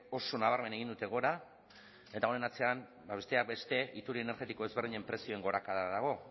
oso nabarmen egin dute gora eta honen atzean besteak beste iturri energetiko ezberdinen prezioen gorakada dago